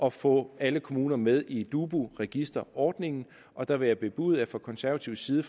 at få alle kommuner med i dubu register ordningen og der vil jeg bebude at vi fra konservativ side